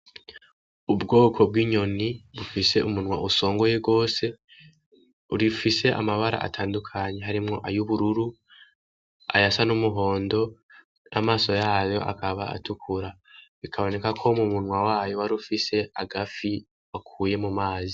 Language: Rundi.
Ubwoko bw’inyoni zifise umunwa usongoye gose ugifise amabara atandukanye harimwo ay’ubururu , ayasa n’umuhondo, amaso yayo akaba atukura. Bikaboneka ko umunwa wayo warufise agafi wakuye mu mazi.